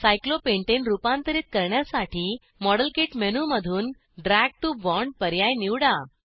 cyclopentane रुपांतरीत करण्यासाठी model kit model kit मेनूमधून ड्रॅग टीओ बॉण्ड पर्याय निवडा